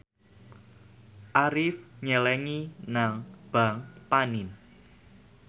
Arif nyelengi nang bank panin